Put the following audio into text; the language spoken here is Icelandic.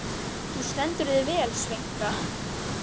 Þú stendur þig vel, Sveinka!